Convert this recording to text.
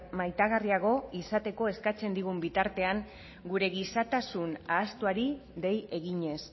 maitagarriago izateko eskatzen digun bitartean gure gizatasun ahaztuari dei eginez